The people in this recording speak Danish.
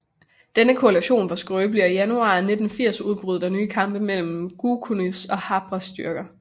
Denne koalition var skrøbelig og i januar 1980 udbrød der nye kampe mellem Goukounis og Habrés styrker